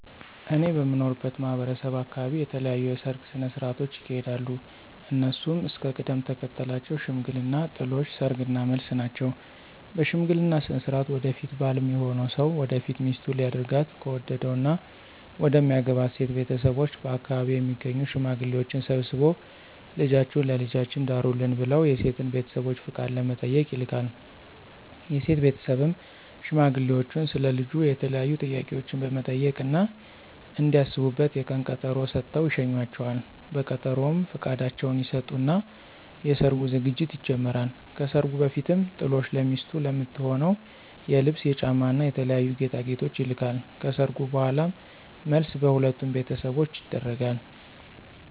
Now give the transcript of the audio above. እኔ በምኖርበት ማህበረሰብ አካበቢ የተለያዩ የሰርግ ስነ ሥርዓቶች ይካሄዳሉ። እነሱም እስከ ቅደም ተከተላቸው ሽምግልና፣ ጥሎሽ፣ ሰርግ እና መልስ ናቸው። በሽምግልና ስነ ሥርዓት ወደፊት ባል ሚሆነው ሰው ወደፊት ሚስቱ ሊያደርጋት ከወደደው እና መደሚያገባት ሴት ቤተሰቦች በአከባቢው የሚገኙ ሽማግሌዎችን ሰብስቦ ልጃችሁን ለልጃችን ዳሩልን ብለው የሴትን ቤተሰቦች ፍቃድ ለመጠየቅ ይልካል። የሴት ቤተሰብም ሽማግሌዎቹን ስለ ልጁ የተለያዩ ጥያቄዎችን በመጠየቅ እና እንዲያስቡበት የቀን ቀጠሮ ሰጥተው ይሸኟቸዋል። በቀጠሮውም ፍቃዳቸውን ይሰጡና የሰርጉ ዝግጅት ይጀመራል። ከሰርጉ በፊትም ጥሎሽ ለሚስቱ ለምትሆነው የልብስ፣ የጫማ እና የተለያዩ ጌጣጌጦች ይልካል። ከሰርጉ በኋላም መልስ በሁለቱም ቤተሰቦች ይደረጋል።